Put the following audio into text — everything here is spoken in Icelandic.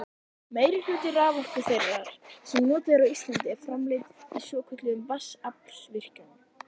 Meirihluti raforku þeirrar sem notuð er á Íslandi er framleidd í svokölluðum vatnsaflsvirkjunum.